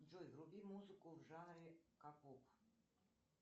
джой вруби музыку в жанре к поп